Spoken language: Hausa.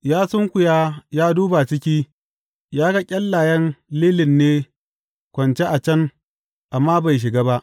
Ya sunkuya ya duba ciki ya ga ƙyallayen lilin ne kwance a can amma bai shiga ba.